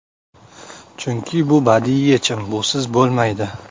Chunki bu badiiy yechim, busiz bo‘lmaydi.